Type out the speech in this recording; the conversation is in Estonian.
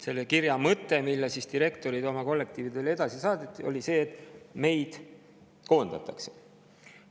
Selle kirja mõte, mille direktorid oma kollektiividele edasi saatsid, oli see, et neid koondatakse.